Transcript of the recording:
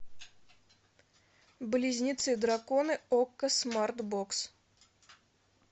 близнецы драконы окко смарт бокс